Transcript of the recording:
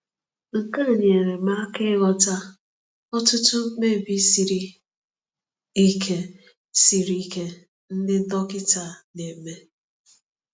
Nke a nyere m aka ịghọta ọtụtụ mkpebi siri ike siri ike ndị dọkịta na-eme.